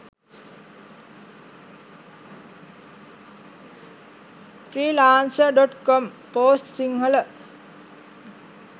freelancer.com post sinhala